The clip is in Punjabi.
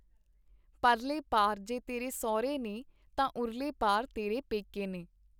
ਪਰਲੇ ਪਾਰ ਜੇ ਤੇਰੇ ਸਹੁਰੇ ਨੇ ਤਾਂ ਉਰਲੇ ਪਾਰ ਤੇਰੇ ਪੈਕੇ ਨੇ.